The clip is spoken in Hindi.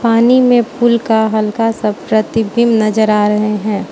पानी मे फूल का हल्का सा प्रतिबिम्ब नज़र आ रहे हैं।